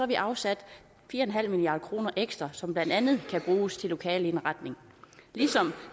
vi afsat fire milliard kroner ekstra som blandt andet kan bruges til lokaleindretning ligesom